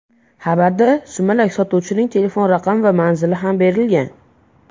Xabarda sumalak sotuvchining telefon raqami va manzili ham berilgan.